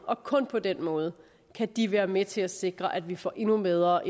og kun på den måde kan de være med til at sikre at vi får endnu bedre